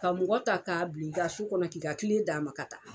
Ka mɔgɔ ta k'a bila i ka so kɔnɔ k'i ka tile d'a ma ka taa.